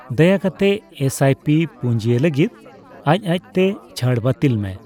ᱫᱟᱭᱟᱠᱟᱛᱮ S I P ᱯᱩᱸᱡᱤᱭ ᱞᱟᱹᱜᱤᱫᱽ ᱟᱡᱽ ᱟᱡᱛᱮ ᱪᱷᱟᱹᱲ ᱵᱟᱹᱛᱤᱞ ᱢᱮ ᱾